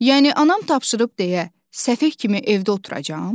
Yəni anam tapşırıb deyə səfeh kimi evdə oturacam?